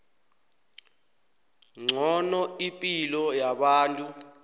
ngcono ipilo yabantu